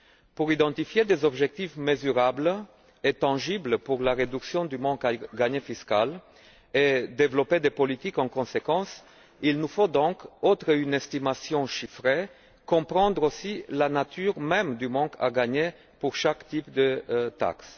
Pour identifier des objectifs mesurables et tangibles pour la réduction du manque à gagner fiscal et développer des politiques en conséquence, il nous faut donc, outre une estimation chiffrée, comprendre aussi la nature même du manque à gagner pour chaque type de taxe.